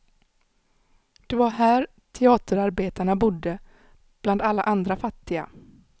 Det var här teaterarbetarna bodde, bland alla andra fattiga.